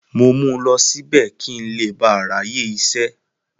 Mo mú lọ síbẹ̀, kí n le ba à ráyè isẹ́.